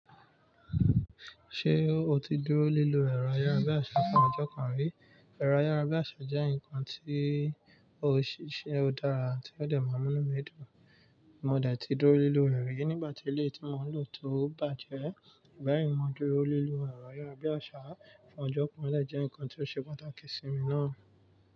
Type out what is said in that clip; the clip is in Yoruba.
Ṣé o ti dúró lílu ẹ̀rọ ayárabíàṣá fún ọjọ́ kan rí? Ẹ̀rọ ayárabíàṣá jẹ́ nǹkan tí ó ṣe é dára tí ó dẹ̀ máa mú inú mi dùn. Mo dẹ̀ ti dúró lílu rẹ̀ nígbà tí ilé tí mo ń lò tó bàjẹ́. Bẹ́ẹ̀ni, mo dúró lílu ẹ̀rọ ayárabíàṣá fún ọjọ́ kan lè jẹ́ ǹkan tí ó ṣe pàtàkì sí mi náà.